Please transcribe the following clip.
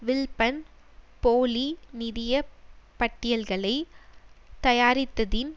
வில்பன் போலி நிதிய பட்டியல்களை தயாரித்ததின்